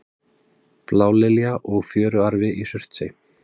blálilja og fjöruarfi í surtsey